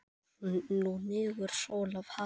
Nú hnígur sól að hafi.